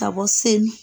Ka bɔ seli